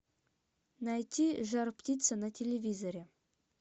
найти жар птица на телевизоре